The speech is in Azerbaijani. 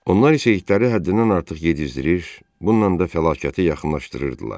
Onlar isə itləri həddindən artıq yedizdirir, bununla da fəlakəti yaxınlaşdırırdılar.